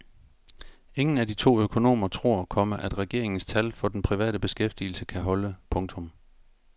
Ingen af de to økonomer tror, komma at regeringens tal for den private beskæftigelse kan holde. punktum